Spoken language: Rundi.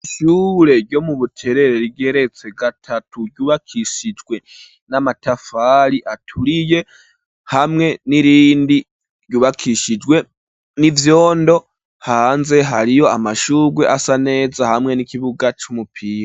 Ishure ryo mu buterere rigeretse gatatu, ryubakishijwe n'amatafari aturiye ,hamwe n'irindi ryubakishijwe n'ivyondo, hanze hariyo amashurwe asa neza ,hamwe n'ikibuga c'umupira.